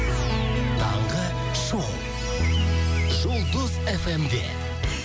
таңғы шоу жұлдыз эф эм де